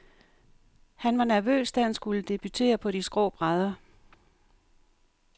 Han var nervøs, da han skulle debutere på de skrå brædder.